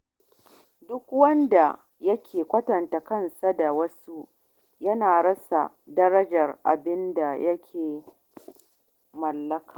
Duk wanda yake kwatanta kansa da wasu yana rasa darajar abin da ya mallaka.